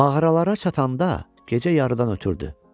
Mağaralara çatanda gecə yarıdan ötürdü.